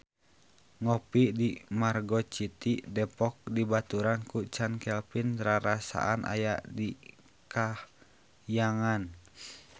Ngopi di Margo City Depok dibaturan ku Chand Kelvin rarasaan aya di kahyangan